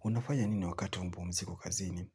Unafanya nini wakati wa mapumziko kazini?